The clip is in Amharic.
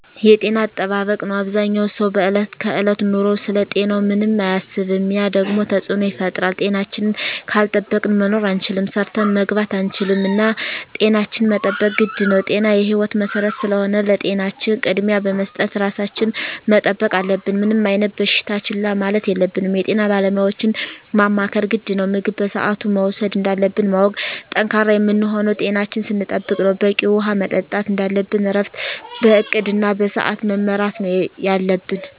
የጤና አጠባበቅ ነው አበዛኛው ሰው በዕለት ከዕለት ኑሮው ስለ ጤናው ምንም አያስብም ያ ደግሞ ተፅዕኖ ይፈጥራል። ጤናችን ካልጠበቅን መኖር አንችልም ሰርተን መግባት አንችልም እና ጤናችን መጠበቅ ግድ ነው ጤና የህይወት መሰረት ስለሆነ ለጤናችን ቅድሚያ በመስጠት ራሳችን መጠበቅ አለብን። ምንም አይነት በሽታ ችላ ማለት የለብንም የጤና ባለሙያዎችን ማማከር ግድ ነው። ምግብ በስአቱ መውሰድ እንዳለብን ማወቅ። ጠንካራ የምንሆነው ጤናችን ስንጠብቅ ነው በቂ ውሀ መጠጣት እንደለብን እረፍት በእቅድ እና በስዐት መመራት ነው የለብን